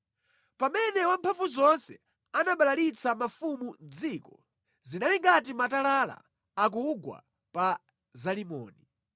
Pamene Wamphamvuzonse anabalalitsa mafumu mʼdziko, zinali ngati matalala akugwa pa Zalimoni.